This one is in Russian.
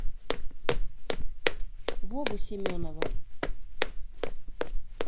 вовы семенова